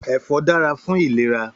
Èfò dàrá fún ilérà